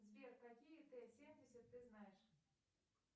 сбер какие т семьдесят ты знаешь